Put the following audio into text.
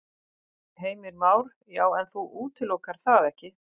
Heimir Már: Já, en þú útilokar það ekki?